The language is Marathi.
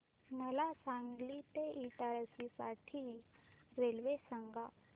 मला सांगली ते इटारसी साठी रेल्वे सांगा